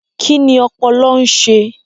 Kí ni ọpọlọ ń ṣe?